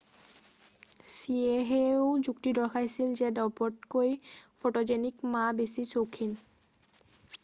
ছিয়েহেও যুক্তি দৰ্শাইছিল যে দ্ৰব্যতকৈ ফ'টোজেনিক মা বেছি চৌখিন